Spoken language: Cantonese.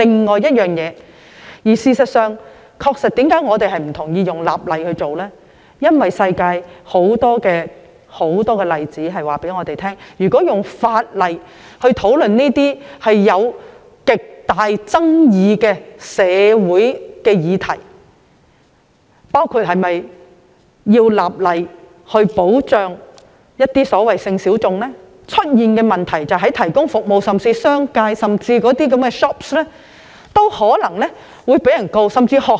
我們反對以立法形式處理，是因為全世界有很多例子告訴我們，如果從法例的角度討論這些存在極大爭議的社會議題，包括是否立法保障一些所謂的性小眾，所引發的問題非常深遠，服務提供者，即是商界或店鋪皆有可能被控告。